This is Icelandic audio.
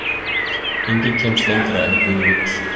Enginn kemst lengra en guð vill.